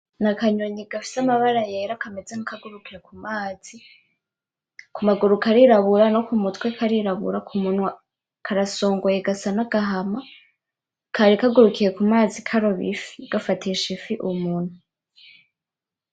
Ni akanyoni gafise amabara yera kameze nkakagurukite ku mazi, ku maguru karirabura no ku mutwe karirabura k'umunwa karasongoye gasa nk'agahama kari kagurukiye ku mazi karoba ifi gafatisha ifi umunwa.